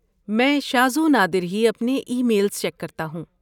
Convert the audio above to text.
میں شاذ و نادر ہی اپنے ای میلز چیک کرتا ہوں۔